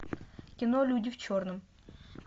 кино люди в черном